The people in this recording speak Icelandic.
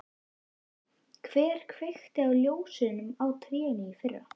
Lillý: Hver kveikti á ljósunum á trénu í fyrra?